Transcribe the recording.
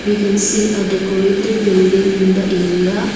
we can see a decorated building in the area.